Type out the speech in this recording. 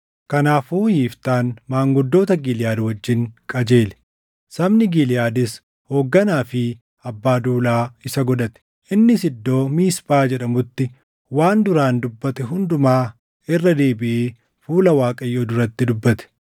Kanaafuu Yiftaan maanguddoota Giliʼaad wajjin qajeele; sabni Giliʼaadis hoogganaa fi abbaa duulaa isa godhate. Innis iddoo Miisphaa jedhamutti waan duraan dubbate hundumaa irra deebiʼee fuula Waaqayyoo duratti dubbate.